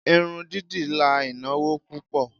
Irun dídì la ìnáwó púpò.